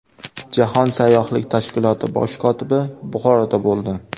Jahon sayyohlik tashkiloti bosh kotibi Buxoroda bo‘ldi.